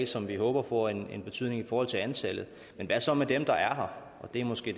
som vi håber får en betydning i forhold til antallet men hvad så med dem der er her og det er måske